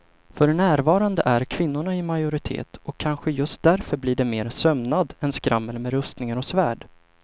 För närvarande är kvinnorna i majoritet och kanske just därför blir det mer sömnad än skrammel med rustningar och svärd.